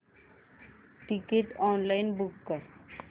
ticket online book कर